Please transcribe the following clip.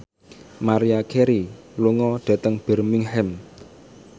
Maria Carey lunga dhateng Birmingham